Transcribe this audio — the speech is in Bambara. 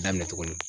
Daminɛ tugunni